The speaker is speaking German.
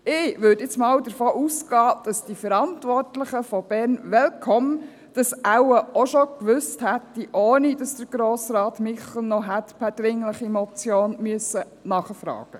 Ich würde nun einmal davon ausgehen, dass die Verantwortlichen von Bern Welcome das wohl auch schon gewusst hätten, ohne dass Grossrat Michel noch per dringliche Motion hätte nachfragen müssen.